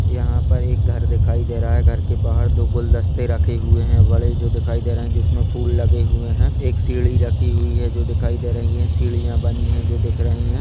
यहाँ पर एक घर दिखाई दे रहा है। घर के बहार दो गुलदस्ते रखे हुए हैं बड़े जो दिखाई दे रहे हैं जिसमें फूल लगे हुए हैं। एक सीड़ी रखी हुई है जो दिखाई दे रही है। सीढ़ियां बनी है जो दिख रही है।